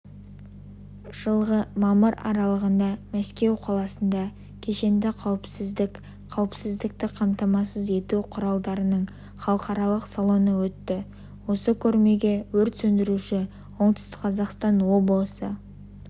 жылғы мамыр аралығында мәскеу қаласында кешенді қауіпсіздік қауіпсіздікті қамтамасыз ету құралдарының халықаралық салоны өтті осы көрмеге өрт сөндіруші оңтүстік қазақстан облысы